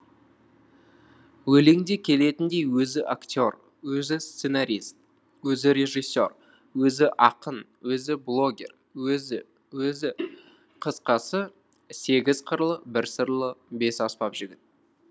өлеңде келетіндей өзі актер өзі сценарист өзі режиссер өзі ақын өзі блогер өзі өзі қысқасы сегіз қырлы бір сырлы бес аспап жігіт